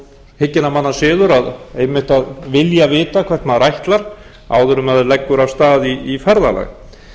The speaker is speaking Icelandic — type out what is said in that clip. hygginna manna siður að vilja vita hvert maður ætlar áður en maður leggur af stað í ferðalag